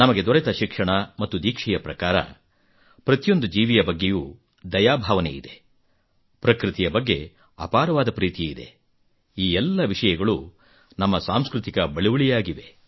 ನಮಗೆ ದೊರೆತ ಶಿಕ್ಷಣ ಮತ್ತು ದೀಕ್ಷೆಯ ಪ್ರಕಾರ ಪ್ರತಿಯೊಂದು ಜೀವಿಯ ಬಗ್ಗೆಯೂ ದಯಾಭಾವನೆಯಿದೆ ಪ್ರಕೃತಿಯ ಬಗ್ಗೆ ಅಪಾರವಾದ ಪ್ರೀತಿಯಿದೆ ಈ ಎಲ್ಲ ವಿಷಯಗಳು ನಮ್ಮ ಸಾಂಸ್ಕೃತಿಕ ಬಳುವಳಿಯಾಗಿವೆ